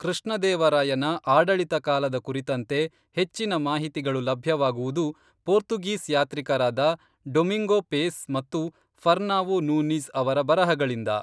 ಕೃಷ್ಣ ದೇವರಾಯನ ಆಡಳಿತ ಕಾಲದ ಕುರಿತಂತೆ ಹೆಚ್ಚಿನ ಮಾಹಿತಿಗಳು ಲಭ್ಯವಾಗುವುದು, ಪೋರ್ತುಗೀಸ್ ಯಾತ್ರಿಕರಾದ ಡೊಮಿಂಗೋ ಪೇಸ್ ಮತ್ತು ಫರ್ನಾವೊ ನೂನೀಜ್ ಅವರ ಬರಹಗಳಿಂದ